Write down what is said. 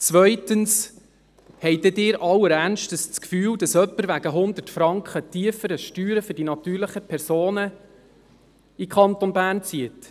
Zweitens: Haben Sie allen Ernstes das Gefühl, dass jemand wegen 100 Franken tieferen Steuern für die natürlichen Personen in den Kanton Bern zieht?